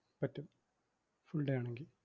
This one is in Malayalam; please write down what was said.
പറ്റും full day ആണെങ്കിൽ